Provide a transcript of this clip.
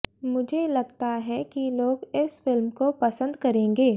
मुझे लगता है कि लोग इस फिल्म को पसंद करेंगे